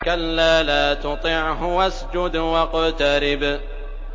كَلَّا لَا تُطِعْهُ وَاسْجُدْ وَاقْتَرِب ۩